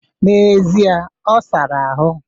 Na'ezie ọ sara ahụ.